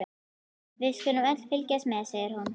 Við skulum öll fylgjast með, segir hún.